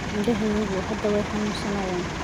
Indhahaygu hadda way i xanuunayaan